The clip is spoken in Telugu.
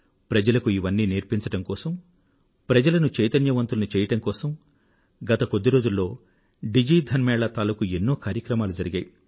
ప్రజలకు ఇవన్నీనేర్పించడం కోసం ప్రజలను చైతన్యవంతులను చెయ్యడం కోసం గత కొద్ది రోజుల్లో డిజి ధన్ మేళా తాలూకూ ఎన్నో కార్యక్రమాలు జరిగాయి